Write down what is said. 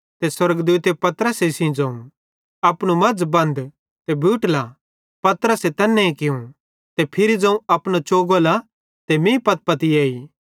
स्वर्गदूते पतरसे सेइं ज़ोवं अपनू मज़ बन्ध ते बूट ला पतरसे तैन्ने कियूं ते फिरी ज़ोवं अपनो चोगो ला ते मीं पत्पती एई